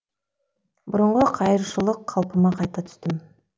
бұрынғы қайыршылық қалпыма қайта түстім